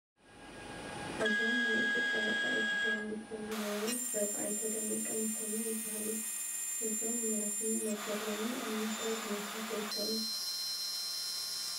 እዞም ናይ ኢትዮጵያ ወፃኢ ጉዳይ ሚኒስተር ዝነበሩ ሰብ ኣይተ ደመቀ መኮንን ይበሃሉ፡፡ እዞም መራሒ ነበር ሎሚ ኣብ ምንታይ ኩነታት ይርከቡ?